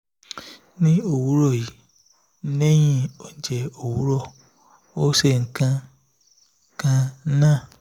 í òwúrọ̀ yìí lẹ́yìn oúnjẹ òwúrọ̀ ó ṣenǹkan kan naáà